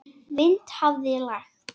Vind hafði lægt.